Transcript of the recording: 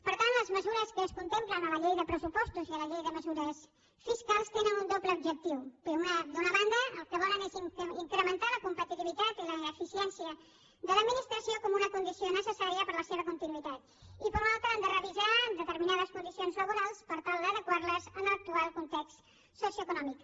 per tant les mesures que es contemplen a la llei de pressupostos i a la llei de mesures fiscals tenen un doble objectiu d’una banda el que volen és incrementar la competitivitat i l’eficiència de l’administració com una condició necessària per a la seva continuïtat i per una altra han de revisar determinades condicions laborals per tal d’adequar les a l’actual context socioeconòmic